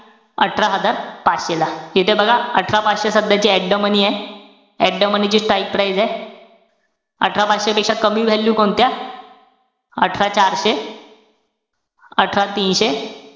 अठरा हजार पाचशे ला. इथे बघा, अठरा पाचशे सध्याची at the money ए. At the money ची strike price ए अठरा पाचशे पेक्षा कमी value कोणत्या? अठरा चारशे अठरा तीनशे,